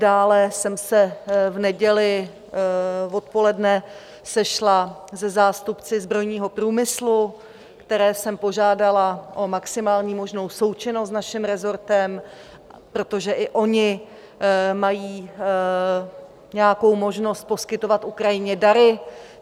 Dále jsem se v neděli odpoledne sešla se zástupci zbrojního průmyslu, které jsem požádala o maximální možnou součinnost s naším resortem, protože i oni mají nějakou možnost poskytovat Ukrajině dary.